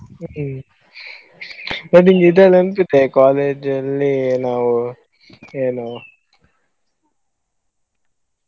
ಹ್ಮ್‌ ಮತ್ತೇ college ಅಲ್ಲಿ ನಾವು ಏನು.